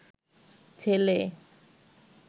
ছেলে